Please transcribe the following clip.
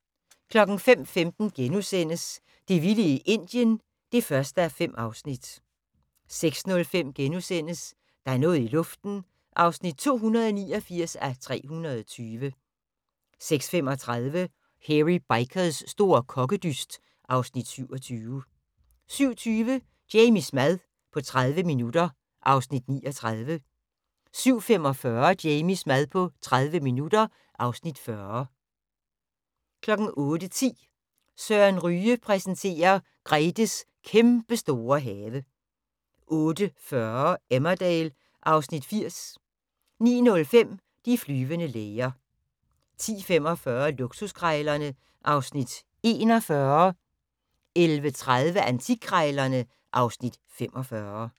05:15: Det vilde Indien (1:5)* 06:05: Der er noget i luften (289:320)* 06:35: Hairy Bikers' store kokkedyst (Afs. 27) 07:20: Jamies mad på 30 minutter (Afs. 39) 07:45: Jamies mad på 30 minutter (Afs. 40) 08:10: Søren Ryge præsenterer: Gretes kæmpestore have 08:40: Emmerdale (Afs. 80) 09:05: De flyvende læger 10:45: Luksuskrejlerne (Afs. 41) 11:30: Antikkrejlerne (Afs. 45)